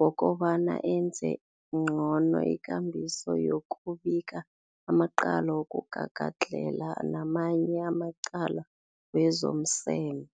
wokobana enze ngcono ikambiso yokubika amacala wokugagadlhela namanye amacala wezomseme.